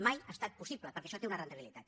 mai ha estat possible perquè això té una rendibilitat